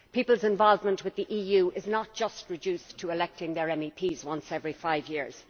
People's involvement with the EU is not just reduced to electing their MEPs once every five years